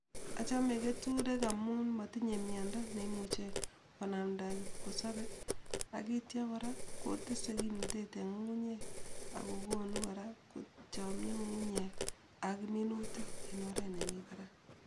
Achame keturek amun matinye miando neimuche konamda kipkosope akityo kora kotese kimnatet eng ngungunyek ako kokonu kora kochangiit ngungunyek ak minutik eng oret ne nyolunot.